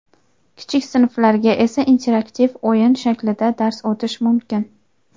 kichik sinflarga esa interaktiv o‘yin shaklida dars o‘tish mumkin.